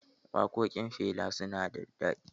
Waƙoƙin Fela su na da daɗi.